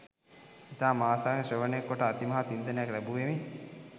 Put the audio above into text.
ඉතාම ආසාවෙන් ශ්‍රවණය කොට අතිමහත් වින්දනයක් ලැබූවෙමි